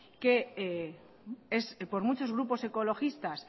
que es por mucho grupos ecologistas